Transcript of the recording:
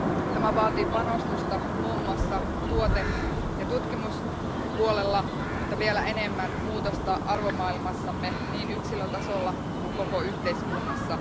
Tämä vaatii panostusta muun muassa tuote ja tutkimuspuolella, mutta vielä enemmän muutosta arvomaailmassamme niin yksilötasolla kuin koko yhteiskunnassa.